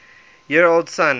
year old son